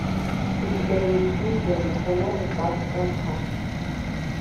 у тебя есть индия национальный парк канха